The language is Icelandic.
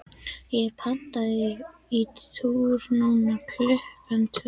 ég er pantaður í túr núna klukkan tvö.